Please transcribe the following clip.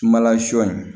Sumala sɔ in